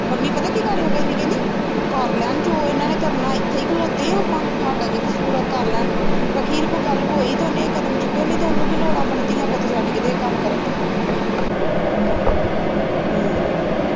ਪੰਮੀ ਪਤਾ ਕੀ ਗਾੜਿਓ ਕਹਿੰਦੀ ਕਹਿੰਦੀ ਕਰ ਲੈ ਜੋ ਇਨ੍ਹਾਂ ਨੇ ਕਰਨਾ ਇਥੇ ਈ ਖਲੋਤੇ ਆ ਆਪਾ ਹਾਡਾ ਕੀ ਕਸੂਰ ਆ ਕਰ ਲੈਣ ਅਖੀਰ ਕੋਈ ਗੱਲ ਹੋਈ ਉਹਨੇ ਇਹ ਕਦਮ ਚੁੱਕਿਆ ਨੀ ਉਹਨੂੰ ਕੀ ਲੋੜ ਆ ਆਪਣੇ ਧੀਆਂ ਪੁੱਤ ਛੱਡ ਕੇ ਇਹ ਕੰਮ ਕਰਨ ਦੀ